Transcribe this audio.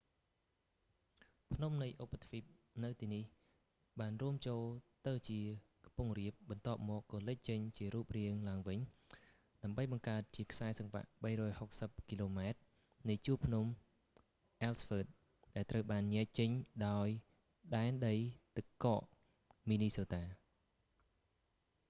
ភ្នំនៃឧបទ្វីបនៅទីនេះបានរួមចូលទៅជាខ្ពង់រាប បន្ទាប់មកក៏លេចចេញជារូបរាងឡើងវិញ ដើម្បីបង្កើតជាខ្សែសង្វាក់ 360 គីឡូម៉ែត្រនៃជួរភ្នំ អ៊ែលស៍វ៊ើត ellsworth ដែលត្រូវបានញែកចេញដោយដែនដីទឹកកក មីនីសូតា minnesota